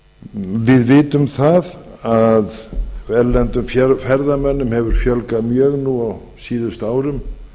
við vitum það að erlendum ferðamönnum hefur fjölgað mjög nú á síðustu árum